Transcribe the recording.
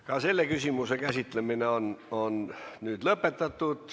Ka selle küsimuse käsitlemine on nüüd lõppenud.